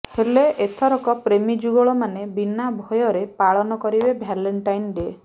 ହେଲେ ଏଥରକ ପ୍ରେମୀ ଯୁଗଳ ମାନେ ବିନା ଭୟରେ ପାଳନ କରିବେ ଭାଲେଣ୍ଟାଇନ ଡ଼େ